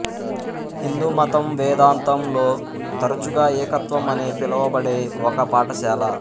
హిందూ మతం వేదాంతం లో తరచుగా ఏకత్వం అనే పిలవబడే ఒక పాఠశాల